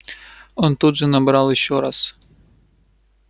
он тут же набрал ещё раз